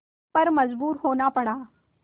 पर मजबूर होना पड़ा